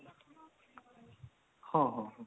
ହଁ ହଁ ହଁ